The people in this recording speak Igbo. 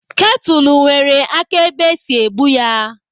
Ketụlụ nwere aka ebe esi ebu ya.